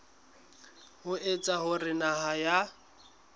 ho etsa hore naha ya